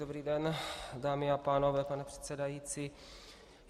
Dobrý den, dámy a pánové, pane předsedající.